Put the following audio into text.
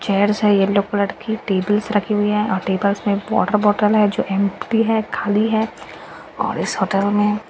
chairs है yellow colour की tables रखी हुई है टेबल्स में वॉटर बॉटल है जो एम्टी है खाली है और इस होटल में एक --